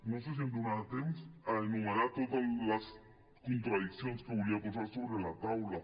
no sé si em donarà temps a enumerar totes les contradiccions que volia posar sobre la taula